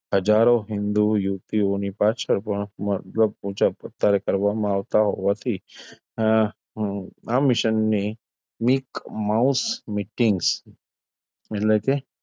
હજારો હિંદુ યુવતીઓની પાછળ પણ મર્દો આવતાં હોવાથી અમ આ mission ની mic mouse meetings એટલે કે,